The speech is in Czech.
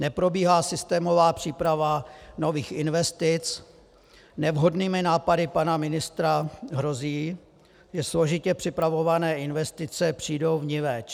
Neprobíhá systémová příprava nových investic, nevhodnými nápady pana ministra hrozí, že složitě připravované investice přijdou vniveč.